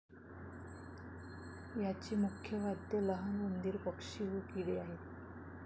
याचे मुख्य खाद्य लहान उंदीर पक्षी व किडे आहेत